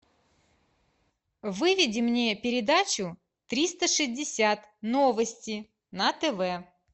выведи мне передачу триста шестьдесят новости на тв